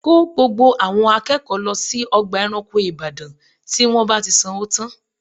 Kó gbogbo àwọn akẹ́kọ̀ọ́ lọ sí ọgbà ẹranko ìbàdàn tí wọ́n bá ti sanwó tán